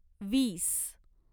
वीस